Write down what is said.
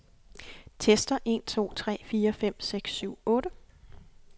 Tester en to tre fire fem seks syv otte.